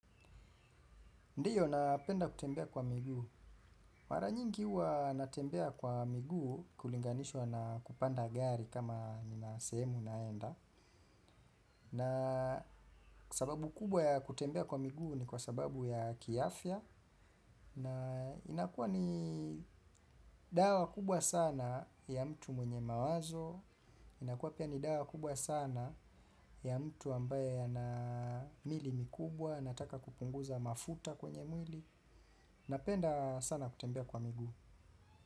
Ndiyo, napenda kutembea kwa miguu. Mara nyingi huwa natembea kwa miguu kulinganishwa na kupanda gari kama nina sehemu naenda. Na sababu kubwa ya kutembea kwa miguu ni kwa sababu ya kiafya. Na inakuwa ni dawa kubwa sana ya mtu mwenye mawazo. Inakuwa pia ni dawa kubwa sana ya mtu ambaye ana miili mikubwa anataka kupunguza mafuta kwenye mwili. Napenda sana kutembea kwa miguu.